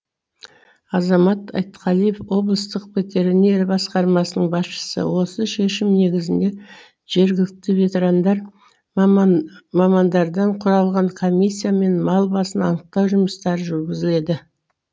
азамат айтқалиев облыстық ветеринария басқармасының басшысы осы шешім негізінде жергілікті ветерандар мамандардан құралған комиссиямен мал басын анықтау жұмыстары жүргізіледі